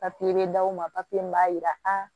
bɛ d'u ma papiye min b'a jira a